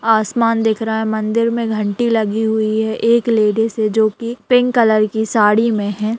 आसमान दिख रहा है मंदिर में घंटी लगी हुई है एक लेडिस है जो की पिंक कलर की साड़ी में है।